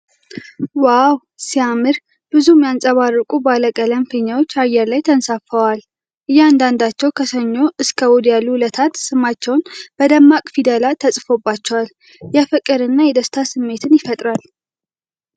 ዋው ሲያምር! ብዙ የሚያብረቀርቁ ባለቀለም ፊኛዎች አየር ላይ ተንሳፍፈዋል። እያንዳንዳቸው 'ከሰኞ እስከ እሑድ ያሉ ዕለታት' ስማቸው በደማቅ ፊደላት ተጽፎባቸዋል። የፍቅር እና የደስታ ስሜትን ይፈጥራል።